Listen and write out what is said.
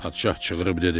Padşah çığırib dedi: